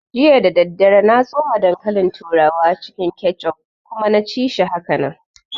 Jiya dadadare na tsoma dankalin turawa cikin kechup kuma na ci shi hakanan